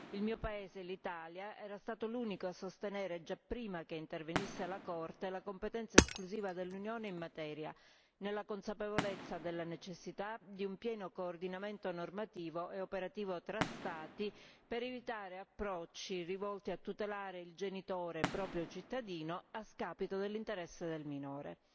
Il mio paese, l'Italia, era stato l'unico a sostenere, già prima che intervenisse la Corte, la competenza esclusiva dell'Unione in materia, nella consapevolezza della necessità di un pieno coordinamento normativo e operativo tra Stati per evitare approcci rivolti a tutelare il genitore proprio cittadino a scapito dell'interesse del minore.